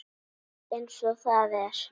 Eins og það er.